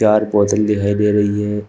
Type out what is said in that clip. चार बोतल दिखाई दे रही हैं।